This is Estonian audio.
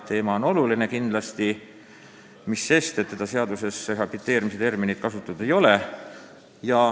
Teema on kindlasti oluline.